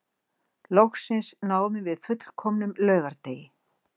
Loksins náðum við fullkomnum laugardegi